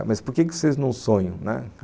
É, mas por que vocês não sonham, né